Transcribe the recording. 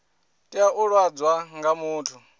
tea u ḓadzwa nga muthu